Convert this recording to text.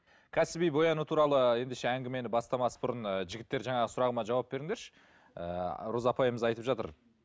кәсіби бояну туралы ендеше әңгімені бастамас бұрын і жігіттер жаңағы сұрағыма жауап беріңдерші ыыы роза апайымыз айтып жатыр